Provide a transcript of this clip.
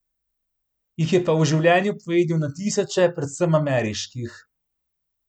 Jih je pa v življenju pojedel na tisoče, predvsem ameriških.